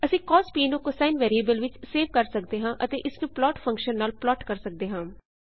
ਅਸੀਂ ਸੀਓਐਸ ਨੂੰ cosine variable ਵਿੱਚ ਸੇਵ ਕਰ ਸਕਦੇ ਹਾਂ ਅਤੇ ਇਸਨੂੰ ਪਲਾਟ ਫ਼ੰਕਸ਼ਨ ਨਾਲ ਪਲਾਟ ਕਰ ਸਕਦੇ ਹਾਂ